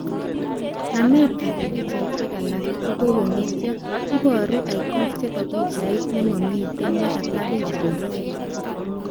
Nametab pichaishek alak kokokongetiyo, ibaru icons chebo pichait nemamiten nekataa pichaishek